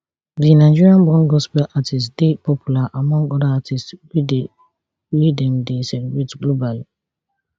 di nigerian born gospel artiste dey popular among oda artistes weydey wey dem dey celebrate globally